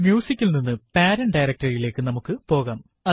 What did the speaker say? Music ൽ നിന്ന് parent directory യിലേക്ക് നമുക്ക് പോകാം